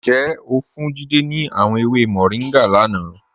Njẹ́ o fún Jídẹ̀ ni àwọn èwè Moringa lánà?